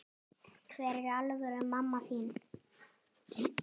Hver er alvöru mamma þín?